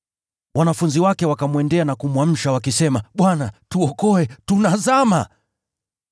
Wanafunzi wake wakamwendea na kumwamsha, wakisema, “Bwana, tuokoe! Tunazama!”